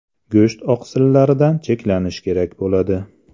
Go‘sht oqsillaridan cheklanish kerak bo‘ladi.